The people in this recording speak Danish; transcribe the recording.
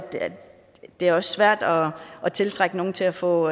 det også er svært at tiltrække nogen til at få